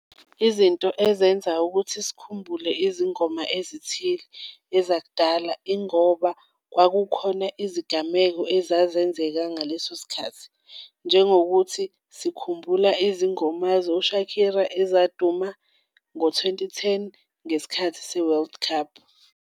Izinto ezenza ukuthi sikhumbule izingoma ezithile ezakudala ingoba kwakukhona izigameko ezazenzeka ngaleso sikhathi, njengokuthi sikhumbula izingoma zo-Shakira ezaduma ngo-twenty-ten ngesikhathi se-world cup.